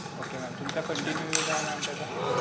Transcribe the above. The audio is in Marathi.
Okay ma'am. तुमचा continue use आहे ma'am त्याचा?